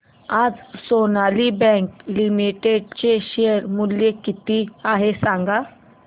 आज Sonali bank limited चे share मूल्य किती आहे सांगा